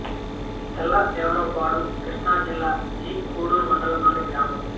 తెల్లదేవరపాడు కృష్ణా జిల్లా జి కొండూరు మండలం లోని గ్రామం